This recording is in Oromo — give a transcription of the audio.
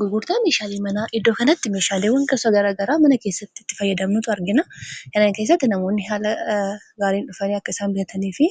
Gurgurtaan meeshaalee manaa iddoo kanatti meeshaaleewwan gosa garagaraa mana keessatti itti fayyadamnutu argina. kana keessatti namoonni haala gaariin dhufanii akka isaan bitanii fi